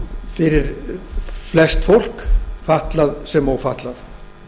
fyrir flest fólk fatlað sem ófatlað